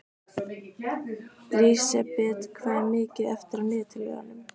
Lísebet, hvað er mikið eftir af niðurteljaranum?